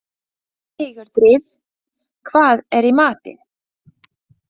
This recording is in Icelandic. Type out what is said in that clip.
Sigurdríf, hvað er í matinn?